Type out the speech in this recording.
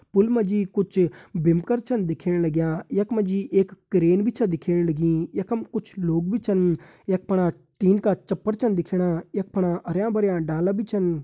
पुल मा जी कुछ बिमकर छन दिखेण लग्यां यख मा जी एक क्रेन छ दिखेण लगीं यखम कुछ लोग भी छन यख फणा टिन का छप्पर दिखेण लग्यां यख फणा कुछ हरयां-भरयां डाला भी छन।